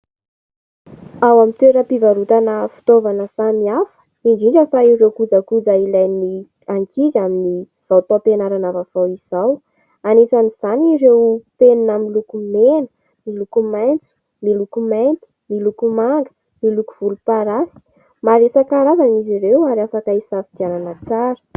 Ao amin'ny toeram-pivarotana fitaovana samy hafa indrindra fa ireo kojakoja ilain'ny ankizy amin'izao taom-pianarana vaovao izao, anisan'izany ireo : penina miloko mena, miloko maitso, miloko mainty, miloko manga, miloko volomparasy. Maro isankarazany izy ireo ary afaka hisafidianana tsara.